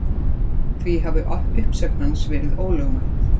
Því hafi uppsögn hans verið ólögmæt